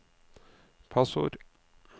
passord